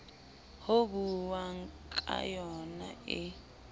ho buuwang ka yna e